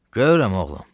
Görürəm, oğlum.